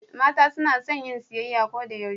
mata sunason yin siyayya Koda yaushe